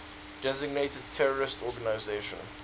designated terrorist organizations